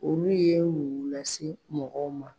Olu ye mun lase mɔgɔw ma.